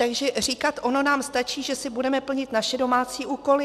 Takže říkat: ono nám stačí, že si budeme plnit naše domácí úkoly...